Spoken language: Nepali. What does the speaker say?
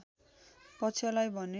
पक्षलाई भने